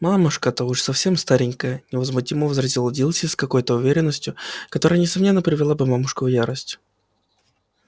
мамушка-то уж совсем старенькая невозмутимо возразила дилси с какой-то уверенностью которая несомненно привела бы мамушку в ярость